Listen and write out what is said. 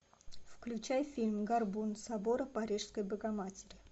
включай фильм горбун собора парижской богоматери